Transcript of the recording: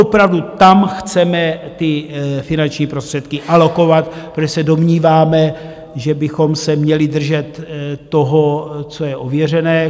Opravdu tam chceme ty finanční prostředky alokovat, protože se domníváme, že bychom se měli držet toho, co je ověřené.